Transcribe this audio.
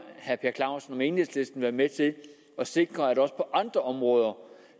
herre per clausen om enhedslisten vil være med til at sikre at der også på andre områder